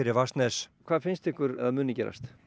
Vatnsnes hvað finnst ykkur að muni gerast